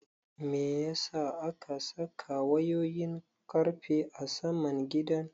Meyasa aka saka wayoyin ƙarfe a saman gidan?